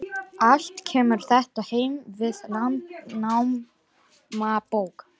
Allt kemur þetta heim við Landnámabók.